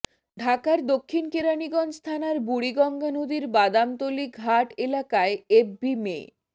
ঢাকার দক্ষিণ কেরানীগঞ্জ থানার বুড়িগঙ্গা নদীর বাদামতলী ঘাট এলাকায় এভ ভি মে